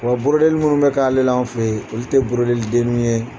Wa li minnu bɛ k'ale la an fɛ yen, olu tɛ li denni ye.